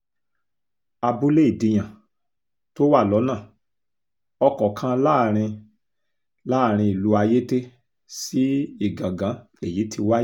abúlé ìdíyàn tó wà lọ́nà ọkọ̀ kan láàrin láàrin ìlú ayéte sí ìgangan lèyí ti wáyé